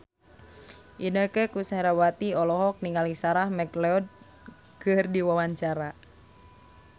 Inneke Koesherawati olohok ningali Sarah McLeod keur diwawancara